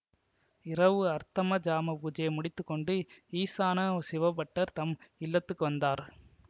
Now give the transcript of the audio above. இரவு அர்த்த ஜாம பூஜையை முடித்து கொண்டு ஈசான சிவபட்டர் தம் இல்லத்துக்கு வந்தார்